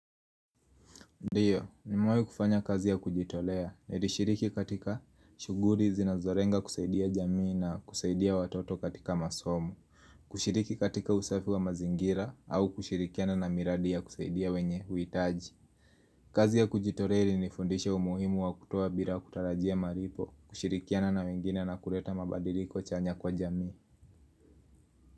Ndio, nimewahi kufanya kazi ya kujitolea, nilishiriki katika shuguli zinazorenga kusaidia jamii na kusaidia watoto katika masomo kushiriki katika usafi wa mazingira au kushirikiana na miradi ya kusaidia wenye huitaji kazi ya kujitolea ili nifundisha umuhimu wa kutoa bila kutarajia maripo, kushirikiana na wengine na kureta mabadili kwa chanya kwa jamii.